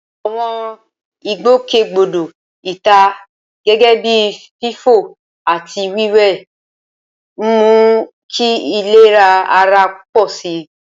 Àwọn ìgbòkègbodò ìta, gẹ́gẹ́ bíi fífò àti wíwẹ̀, ń mú kí ìlera ara pọ̀ sí i.